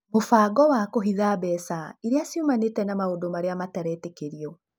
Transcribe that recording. Mũbango wa kũhitha mbeca iria ciumanĩte na maũndũ arĩa matetĩkĩrĩtio.